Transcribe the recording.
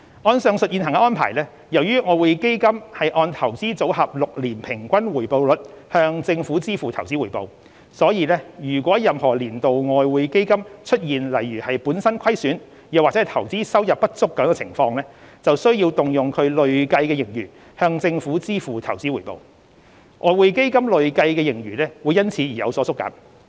按上述現行安排，由於外匯基金按"投資組合 "6 年平均回報率向政府支付投資回報，所以如果任何年度外匯基金出現如本身虧損或投資收入不足等情況，便需要動用其累計盈餘向政府支付投資回報，外匯基金累計盈餘會因此有所縮減。